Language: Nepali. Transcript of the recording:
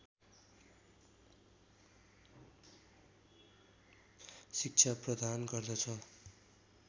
शिक्षा प्रदान गर्दछ